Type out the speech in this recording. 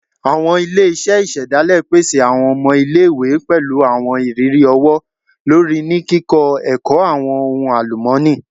Awọn ile-iṣẹ isedale pese awọn ọmọ ile-iwe pẹlu awọn iriri ọwọ-lori ni kikọ ẹkọ awọn ohun alumọni